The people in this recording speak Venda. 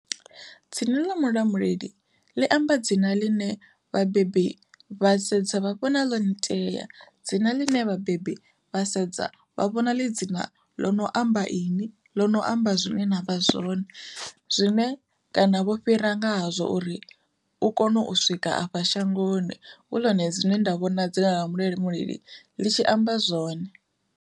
Dzina ḽa Mulamuleli ḽi amba dzina ḽine vhabebi vha sedza vha vhona ḽo nitea, dzina ḽine vhabebi vha sedza vha vhona ḽi dzina ḽo no amba ini ḽino amba zwine na vha zwone, zwine kana vho fhira ngahazwo uri u kone u swika afha shangoni hu ḽone dzine nda vhona dzina ḽa Mulamuleli ḽi tshi amba zwone.